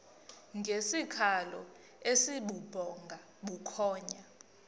ngesikhalo esibubhonga bukhonya